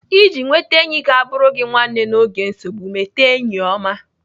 Iji nweta enyi ga-abụrụ gị nwanne n'oge nsogbu, mete enyi ọma.